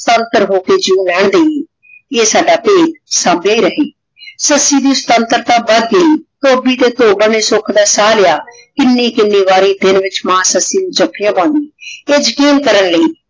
ਤੰਤਰ ਹੋ ਕੇ ਜੀਵੋ ਲੈਣ ਦਿਯੇ ਆਯ ਸਦਾ ਭੇਦ ਸੰਬਹੀ ਰਾਖੇ ਸੱਸੀ ਦੀ ਸ੍ਵਾਨ੍ਤਾਰਤਾ ਵਧ ਗਈ ਧੋਭੀ ਤੇ ਧੋਬਨ ਨੇ ਸੁਖ ਦਾ ਸਾਹ ਲਾਯਾ ਕਿੰਨੀ ਕਿੰਨੀ ਵਾਰੀ ਦਿਨ ਵਿਚ ਮਾਨ ਸੱਸੀ ਨੂ ਜਾਫਿਯਾਂ ਪਾਉਂਦੀ ਤੇ ਯਕੀਨ ਕਰਨ ਲੈ